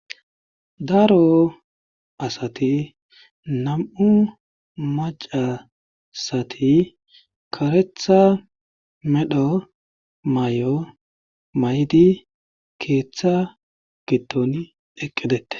daro asati nam7u macasati karetha medho may7o may7di keeththa gitton eqqedette